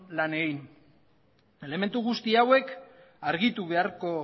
lan egin elementu guzti hauek argitu beharko